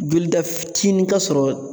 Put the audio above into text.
Jolida fitinin ka sɔrɔ